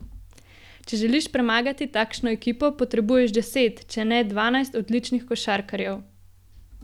Če želiš premagati takšno ekipo, potrebuješ deset, če ne dvanajst odličnih košarkarjev.